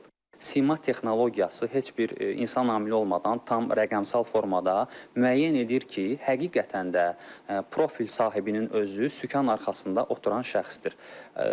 Sima texnologiyası heç bir insan amili olmadan tam rəqəmsal formada müəyyən edir ki, həqiqətən də profil sahibinin özü sükan arxasında oturan şəxsdir.